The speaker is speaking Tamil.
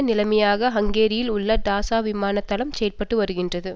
நிலையமாக ஹங்கேரியில் உள்ள டாசா விமானத்தளம் செயல்பட்டு வருகின்றது